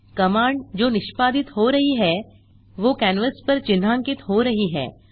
command जो निष्पादित हो रही है वो कैनवास पर चिन्हांकित हो रही है